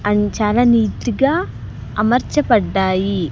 And చాలా neat గా అమర్చపడ్డాయి.